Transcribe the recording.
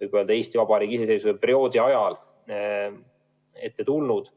Eesti iseseisvuse perioodil enne ette tulnud.